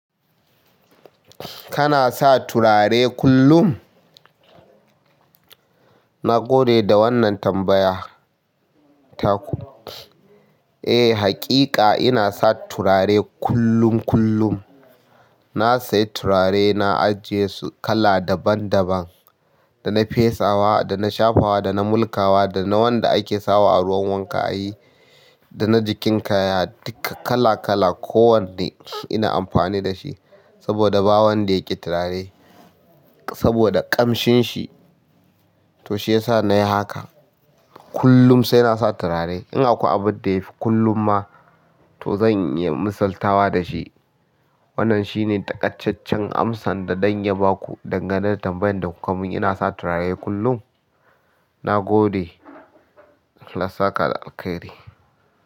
Kana sa turare kullum? Na gode da wannan tambaya ta ku. Eh, haƙiƙa ina sa turare kullum kullum. Na siya turare na ajje su, kala daban-daban, na fesa wa dana shafawa dana mulkawa dana wanda ake sawa a ruwan wanka ayi, dana jikin kaya duk kala-kala, ko wanne ina amfani da shi saboda ba wanda yake turare saboda ƙamshin shi, to shi yasa na yi haka. Kullum sai na sa turare. In akwai abin da ya fi kullum ma, to zan yi masaltawa da shi. Wannan shine takacchen amsar da ɗan ya ba ku dangane da tambayan da kuka mun. Ina sa turare kullum. Na gode. Allah saka alkhairi.